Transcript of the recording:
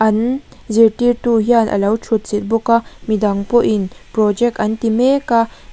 nn zirtirtu hian a lo thut chilh bawk a midang pawhin project an ti mek a.